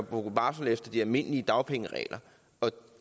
gå på barsel efter de almindelige dagpengeregler